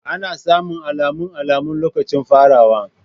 Ana samun alamun alamun lokacin farawa.